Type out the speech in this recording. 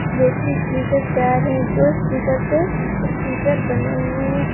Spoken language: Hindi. देखिए स्पीकर चार है दो स्पीकर पे स्टीकर बने हुए है।